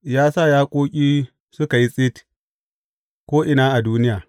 Ya sa yaƙoƙi suka yi tsit ko’ina a duniya.